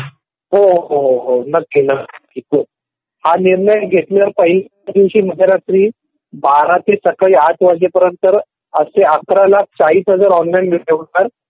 हो हो हो नक्की नक्की हो हा निर्णय घेतल्या पायी एकादिवशी अर्ध्या रात्री बारा ते सकाळी आठ वाजेपर्यंत असे तेअकरा लाख चाळीस हजार ऑनलाईन होतात .